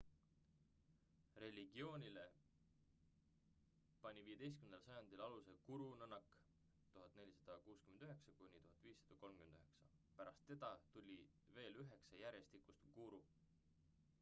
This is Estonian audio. religioonie pani 15. sajandil aluse guru nanak 1469–1539. pärast teda tuli veel 9 järjestikust guru